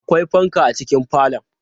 Akwai fanka a cikin falon.